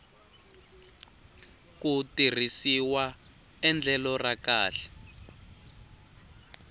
ku tirhisiwa endlelo ra kahle